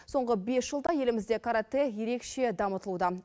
соңғы бес жылда елімізде каратэ ерекше дамытылуда